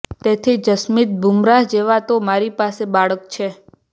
તેથી જસપ્રીત બુમરાહ જેવા તો મારી સામે બાળક છે